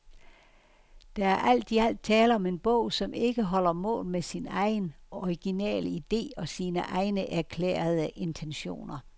Der er alt i alt tale om en bog, som ikke holder mål med sin egen, originale ide og sine egne erklærede intentioner.